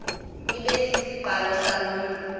ibe sisiqalo soluntu